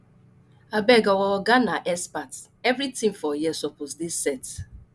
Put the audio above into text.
abeg o our oga na expert everytin na expert everytin for here suppose dey set